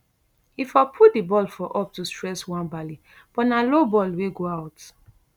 e for put di ball for up to stress nwabali but na low ball wey go out